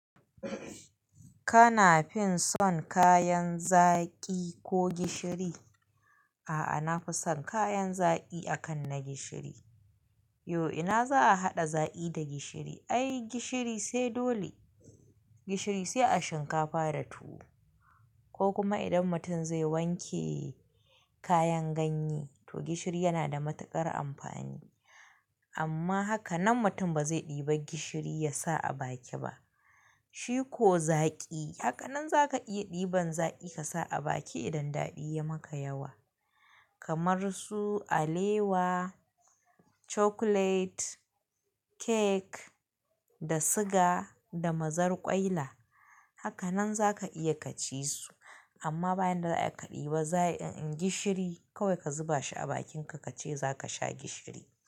Kana fin son kayan zaƙi ko gishiri? A'a, na fi son kayan zaƙi akan na gishiri. Yo ina za a haɗa zaƙi da gishiri? Ai gishiri sai dole, gishiri sai a shinkafa da tuwo, ko kuma idan mutum zai wanke kayan ganye to gishiri yana da matuƙar amfani. Amma haka nan mutum ba zai ɗiba gishiri ya sa a baki ba. Shi ko zaƙi haka nan za ka iya ɗiban zaƙi ka sa a baki idan daɗi ya maka yawa. Kamar su alewa, chocolate cake da siga da mazar ƙwaila. Haka nan za ka iya ka ci su amma bayan da za'ayi aka ɗiba zaƙi, in gishiri kawai ka zuba shi a bakin ka ka ce za ka sha gishiri.